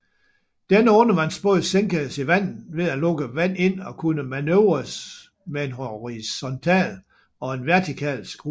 Denne undervandsbåd sænkedes i vandet ved at lukke vand ind og kunne manøvreres med en horisontal og en vertikal skrue